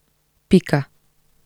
Pika.